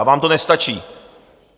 A vám to nestačí.